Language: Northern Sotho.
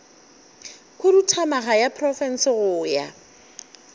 khuduthamaga ya profense go ya